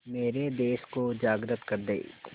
मेरे देश को जागृत कर दें